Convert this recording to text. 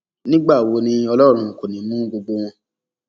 nígbà wo ni ọlọrun kò ní í mú gbogbo wọn